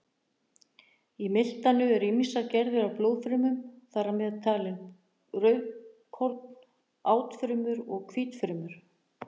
Í miltanu eru ýmsar gerðir af blóðfrumum, þar með talin rauðkorn, átfrumur og hvítfrumur.